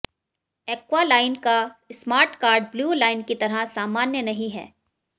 aqua line का smart card blue line की तरह सामान्य नहीं है